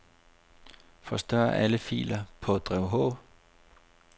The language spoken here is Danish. Forstør alle filer på drev H.